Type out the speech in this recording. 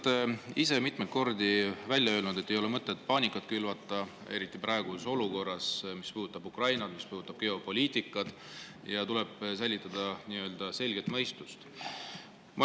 Te olete ise mitmeid kordi välja öelnud, et ei ole mõtet paanikat külvata, eriti praeguses olukorras, mis puudutab Ukrainat, mis puudutab geopoliitikat, ja tuleb säilitada selget mõistust.